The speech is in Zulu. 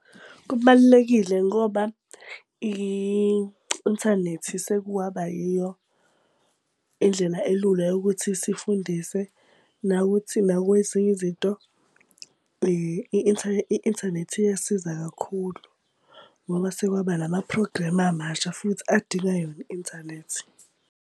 Kubalulekile ngoba i-inthanethi sekwaba yiyo indlela elula yokuthi sifundise nakuthi kwezinye izinto, i-inthanethi iyasiza kakhulu ngoba sekwaba nama-program amasha futhi adinga yona i-inthanethi.